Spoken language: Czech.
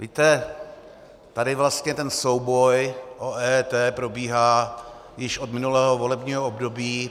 Víte, tady vlastně ten souboj o EET probíhá již od minulého volebního období.